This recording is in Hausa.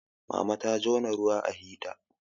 mama ta jona ruwa a hita